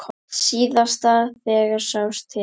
Síðast þegar sást til